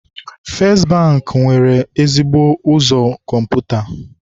Festị Bankị nwere ezigbo ụzọ kọmputa.